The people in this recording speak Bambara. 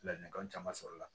Ladilikan caman sɔrɔla